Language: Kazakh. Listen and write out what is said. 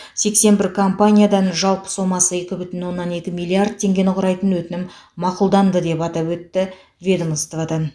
сексен бір компаниядан жалпы соммасы екі бүтін оннан екі миллиард тенгені құрайтын өтінім мақұлданды деп атап өтеді ведомстводан